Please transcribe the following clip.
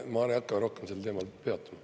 Ma ei hakka rohkem sellel teemal peatuma.